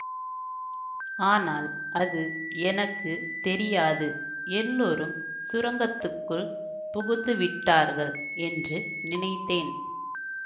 ஆனால் அது எனக்கு தெரியாது எல்லாரும் சுரங்கத்துக்குள் புகுந்துவிட்டார்கள் என்று நினைத்தேன்